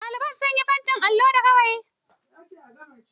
Ɗalibai sun yi fentin allo da gawayi.